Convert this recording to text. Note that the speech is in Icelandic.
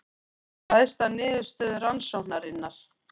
Ræðst af niðurstöðu rannsóknarinnar